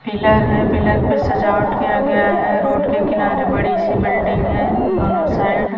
Pillar है pillar पे सजावट किया गया है रोड के किनारे एक बिल्डिंग है दोनों साइड ।